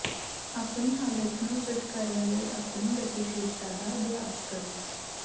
ਆਪਣੀ ਹਾਲਤ ਨੂੰ ਫਿੱਟ ਕਰਨ ਲਈ ਆਪਣੀ ਗਤੀਸ਼ੀਲਤਾ ਦਾ ਅਭਿਆਸ ਕਰੋ